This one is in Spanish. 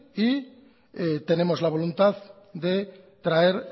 y tenemos la voluntad de traer